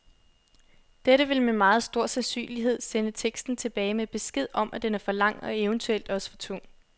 Dette vil med meget stor sandsynlighed sende teksten tilbage med besked om, at den er for lang og eventuelt også for tung.